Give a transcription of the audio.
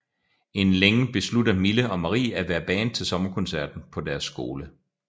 Inden længe beslutter Mille og Marie at være band til sommerkoncerten på deres skole